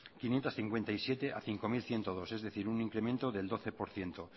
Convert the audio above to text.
quinientos cincuenta y siete a cinco mil ciento dos es decir un incremento del doce por ciento